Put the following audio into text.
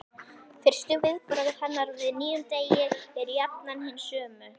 Fyrstu viðbrögð hennar við nýjum degi eru jafnan hin sömu.